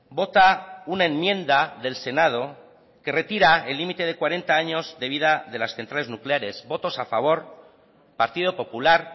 vota una enmienda del senado que retira el límite de cuarenta años de vida de las centrales nucleares votos a favor partido popular